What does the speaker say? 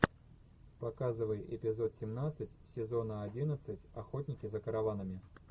показывай эпизод семнадцать сезона одиннадцать охотники за караванами